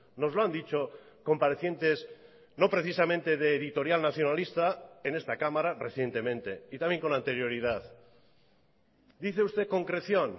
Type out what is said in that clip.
nos lo han dicho comparecientes no precisamente de editorial nacionalista en esta cámara recientemente y también con anterioridad dice usted concreción